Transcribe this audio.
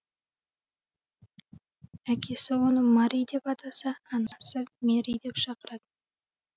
әкесі оны мари деп атаса анасы мэри деп шақырады